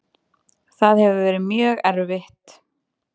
Það hefur verið mjög erfitt.